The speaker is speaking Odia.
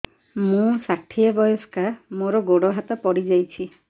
ମୁଁ ଷାଠିଏ ବୟସ୍କା ମୋର ଗୋଡ ହାତ ପଡିଯାଇଛି